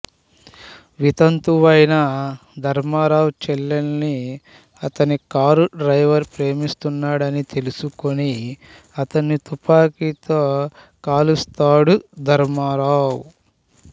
వితంతువైన ధర్మారావు చెల్లెల్ని అతని car driver ప్రేమిస్తున్నాడని తెలుసుకుని అతన్ని తుపాకీతో కాలుస్తాడు ధర్మారావు